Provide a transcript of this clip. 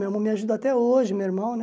Meu irmão me ajuda até hoje, meu irmão, né?